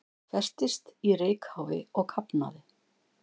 Festist í reykháfi og kafnaði